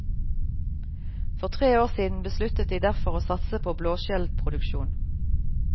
For tre år siden besluttet de derfor å satse på blåskjellproduksjon.